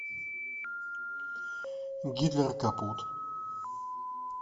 гитлер капут